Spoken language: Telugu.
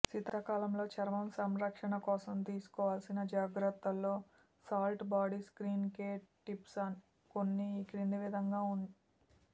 శీతాకాలంలో చర్మం సంరక్షణకోసం తీసుకోవల్సి జాగ్రత్తల్లో salt body skin care tips కొన్ని ఈ క్రింది విధంగా